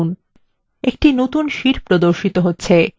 এই নতুন sheet প্রর্দশিত হবে